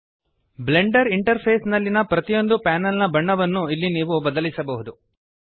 Blender interface ನಲ್ಲಿಯ ಪ್ರತಿಯೊಂದು panel ನ ಬಣ್ಣವನ್ನು ಇಲ್ಲಿ ನೀವು ಬದಲಿಸಬಹುದು